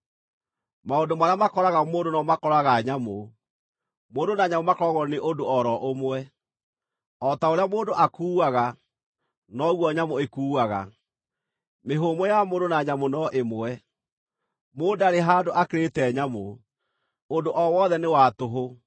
Maũndũ marĩa makoraga mũndũ no mo makoraga nyamũ; mũndũ na nyamũ makoragwo nĩ ũndũ o ro ũmwe: O ta ũrĩa mũndũ akuuaga, noguo nyamũ ĩkuaga. Mĩhũmũ ya mũndũ na nyamũ no ĩmwe; mũndũ ndarĩ handũ akĩrĩte nyamũ. Ũndũ o wothe nĩ wa tũhũ.